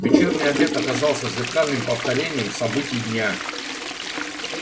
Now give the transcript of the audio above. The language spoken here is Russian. вечерний обед оказался зеркальным повторением событий дня